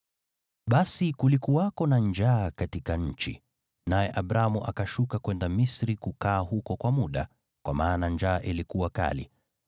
Basi kulikuwako na njaa katika nchi, naye Abramu akashuka kwenda Misri kukaa huko kwa muda, kwa maana njaa ilikuwa kali.